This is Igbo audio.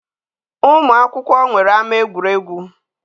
Ụmụkwụkwọ nwere ama egwuregwu.